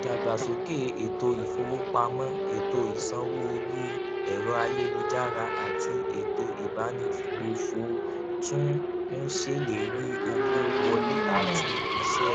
ìdàgbàsókè ètò ìfowópamọ ètò ìsanwó orí ẹrọayélujára àti ètò ìbánigbófò tún ń ṣèlérí owó wọlé àti iṣẹ